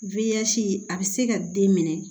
a bɛ se ka den minɛ